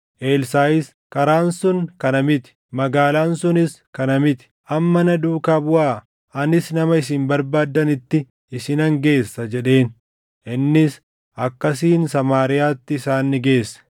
Elsaaʼis, “Karaan sun kana miti; magaalaan sunis kana miti. Amma na duukaa buʼaa; anis nama isin barbaaddanitti isinan geessa” jedheen. Innis akkasiin Samaariyaatti isaan ni geesse.